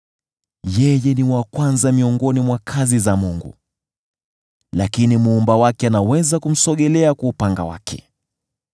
Yeye ni wa kwanza miongoni mwa kazi za Mungu, lakini Muumba wake anaweza kumsogelea kwa upanga wake.